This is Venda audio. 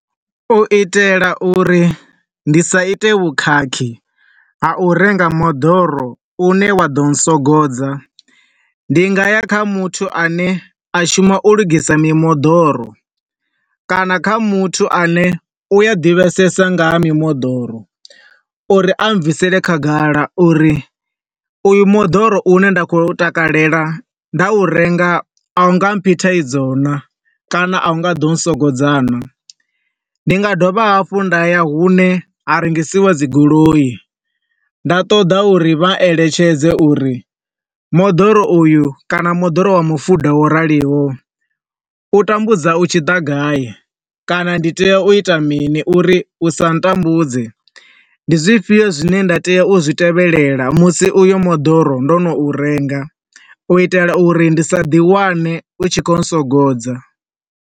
U itela uri ndi sa ite vhukhakhi wa u renga moḓoro une wa ḓo swogodza. Ndi nga ya kha muthu ane a shuma u lugisa mimoḓoro, kana kha muthu a ne u a ḓivhesesa nga ha mimoḓoro uri a bvisele khagala uri uyu moḓoro u ne nda khou takalela, nda u renga, a u nga mphi thaidzo na, kana a u nga ḓo swogodza naa. Ndi nga dovha hafhu nda ya hune ha rengisiwa dzi goloi, nda ṱoḓa u ri vha eletshedze uri moḓoro uyu, kana moḓoro wa mu fuḓa wo raliyo, u tambudza u tshi ḓa gai kana ndi tea u ita mini uri u sa tambudze, ndi zwifhio zwine nda tea u zwi tevhelela musi uyo mudoro ndo no u renga, u itela uri ndi sa ḓi wane u tshi khou swogodza.